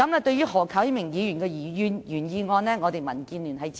對於何啟明議員的原議案，我們民建聯予以支持。